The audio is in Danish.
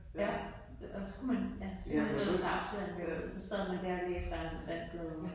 Ja og så kunne man ja så kunne man ja have noget saftevand så sad man der og læste Anders And blade